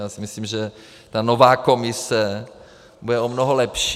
Já si myslím, že ta nová Komise bude o mnoho lepší.